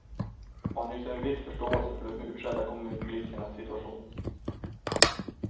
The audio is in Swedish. Och han hyser en viss förståelse för de utskällda kommunpolitikernas situation.